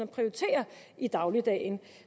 prioriterer i dagligdagen